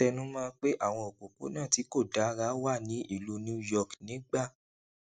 ó tẹnu mó ọn pé àwọn òpópónà tí kò dára wà ní ìlú new york nígbà